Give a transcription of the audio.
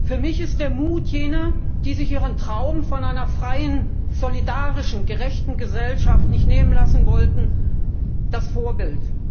Für mich ist der Mut jener, die sich ihren Traum von einer freien, solidarischen, gerechten Gesellschaft nicht nehmen lassen wollten, das Vorbild.